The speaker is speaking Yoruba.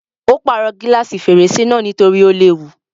Ó pàrọ̀ gílàsì fèrèsé náà nítorí ó léwu.